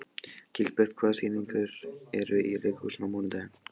Gilbert, hvaða sýningar eru í leikhúsinu á mánudaginn?